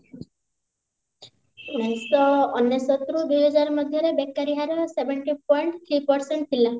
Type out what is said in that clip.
ଉଣେଇଶ ଶହ ଅନେଶତ ରୁ ଦୁଇ ହଜାର ମଧ୍ୟରେ ବେକାରୀ ହାର seven two point three percent ଥିଲା